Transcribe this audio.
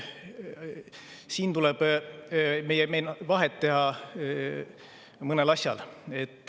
Meil tuleb teha vahet mõnel asjal.